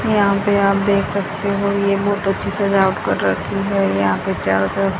यहां पे आप देख सकते हो ये बहोत अच्छी सजावट कर रखी है यहां पे चारों तरफ--